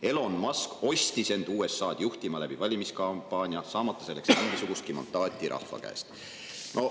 Elon Musk ostis end USA-d juhtima läbi valimiskampaania, saamata selleks mingisugustki mandaati rahva käest.